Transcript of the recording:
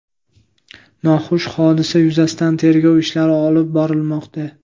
Noxush hodisa yuzasidan tergov ishlari olib borilmoqda.